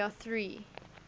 there are three